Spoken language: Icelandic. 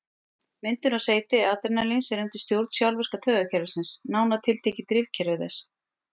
Myndun og seyti adrenalíns er undir stjórn sjálfvirka taugakerfisins, nánar tiltekið drifkerfi þess.